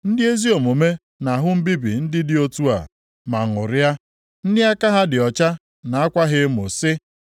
Ndị ezi omume na-ahụ mbibi ndị dị otu a ma ṅụrịa; ndị aka ha dị ọcha na-akwa ha emo sị: